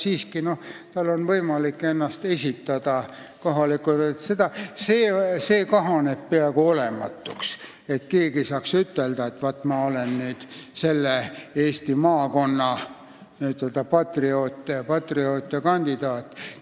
See võimalus, et keegi saaks ütelda, et ma olen selle Eesti maakonna n-ö patrioot ja kandidaat, on kahanenud peaaegu olematuks.